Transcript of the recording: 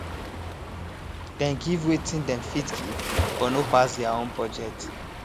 dem give wetin dem fit give but no pass their own budget